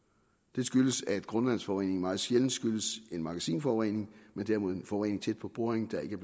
det skyldes at grundvandsforureningen meget sjældent skyldes en magasinforurening men derimod en forurening tæt på boringen der ikke